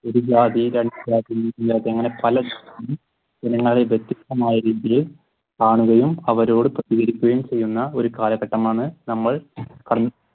വ്യത്യസ്തമായ രീതിയിൽ കാണുകയും അവരോട് ചെയ്യുന്ന ഒരു കാലഘട്ടമാണ് നമ്മൾ